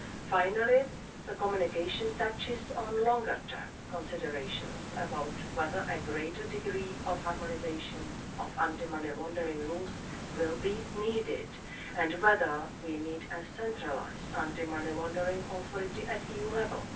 Finally, the communication touches on longer term considerations as to whether a greater degree of harmonisation of anti-money laundering rules will be needed and whether we need a centralised anti-money laundering authority at EU level.